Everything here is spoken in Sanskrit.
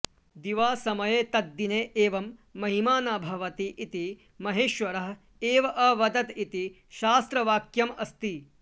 दिवासमये तद्दिने एवं महिमा न भवति इति महेश्वरः एव अवदत् इति शास्त्रवाक्यम् अस्ति